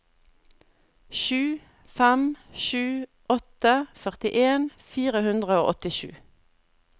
sju fem sju åtte førtien fire hundre og åttisju